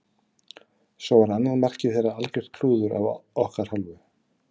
Svo var annað markið þeirra algjört klúður af okkar hálfu.